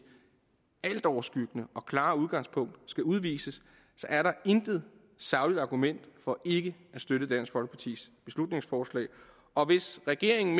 altoverskyggende og klare udgangspunkt skal udvises er der intet sagligt argument for ikke at støtte dansk folkepartis beslutningsforslag og hvis regeringen